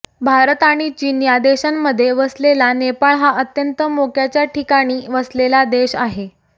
भारत आणि चीन या देशांच्यामध्ये वसलेला नेपाळ हा अत्यंत मोक्याच्या ठिकाणी वसलेला देश आहे